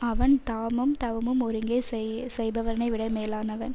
அவன் தாமும் தவமும் ஒருங்கே செய்பவரைவிட மேலானவன்